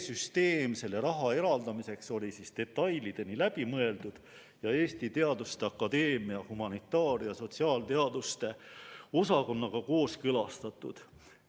Süsteem selle raha eraldamiseks oli detailideni läbi mõeldud ja Eesti Teaduste Akadeemia humanitaar- ja sotsiaalteaduste osakonnaga kooskõlastatud.